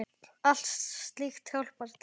Allt slíkt hjálpar til.